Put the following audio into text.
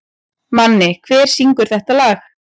Manni, hver syngur þetta lag?